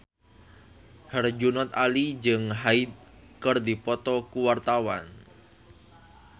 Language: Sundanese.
Herjunot Ali jeung Hyde keur dipoto ku wartawan